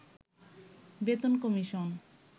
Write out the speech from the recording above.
বেতন কমিশন